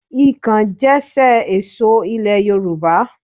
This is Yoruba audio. Ikàn jẹ́ ṣe èso ilẹ̀ Yorùbá